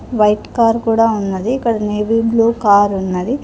White car కూడా ఉన్నది ఇక్కడ నేవి బ్లూ కార్ ఉన్నది.